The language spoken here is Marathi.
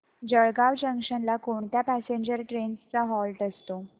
जळगाव जंक्शन ला कोणत्या पॅसेंजर ट्रेन्स चा हॉल्ट असतो